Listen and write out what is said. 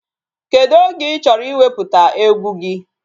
Kedụ oge ị chọrọ iwepụta egwu gị?